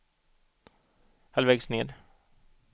halvvägs ned